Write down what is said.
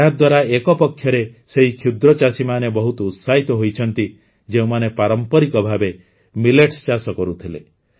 ଏହାଦ୍ୱାରା ଏକପକ୍ଷରେ ସେହି କ୍ଷୁଦ୍ରଚାଷୀମାନେ ବହୁତ ଉତ୍ସାହିତ ହୋଇଛନ୍ତି ଯେଉଁମାନେ ପାରମ୍ପରିକ ଭାବେ ମିଲେଟ୍ସ ଚାଷ କରୁଥିଲେ